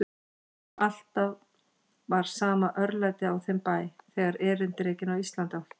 Alltaf var sama örlætið á þeim bæ, þegar erindrekinn á Íslandi átti í hlut.